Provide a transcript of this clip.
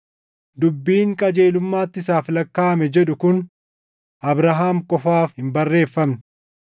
Dubbiin, “Qajeelummaatti isaaf lakkaaʼame” jedhu kun Abrahaam qofaaf hin barreeffamne;